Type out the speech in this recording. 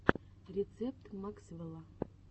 рецепт максвэлла